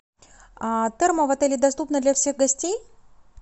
термо в отеле доступно для всех гостей